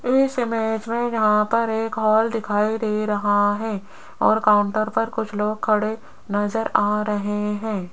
इस इमेज में यहां पर एक हॉल दिखाई दे रहा है और काउंटर पर कुछ लोग खड़े नजर आ रहे हैं।